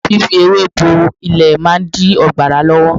Fífi ewé bo ilẹ̀ máa dí ọ̀gbàrá lọ́wọ́.